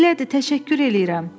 Elədir, təşəkkür eləyirəm.